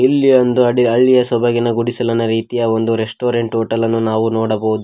ಇಲ್ಲಿ ಒಂದು ಅಡಿ ಹಳ್ಳಿಯ ಸೊಬಗಿನ ಗುಡಿಸಲನ ರೀತಿಯ ಒಂದು ರೆಸ್ಟೋರೆಂಟ್ ಹೋಟೆಲ್ ಅನ್ನು ನಾವು ನೋಡಬಹುದು.